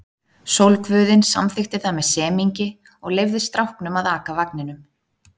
Sólguðinn samþykkti það með semingi og leyfði stráknum að aka vagninum.